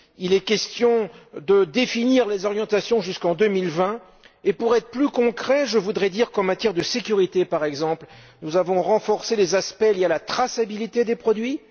Il est question de définir les orientations jusqu'en 2020 et, pour être plus concret, je voudrais dire qu'en matière de sécurité, par exemple, nous avons renforcé les aspects liés à la traçabilité des produits.